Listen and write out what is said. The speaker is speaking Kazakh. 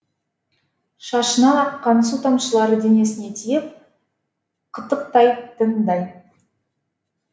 шашынан аққан су тамшылары денесіне тиіп қытықтайтындай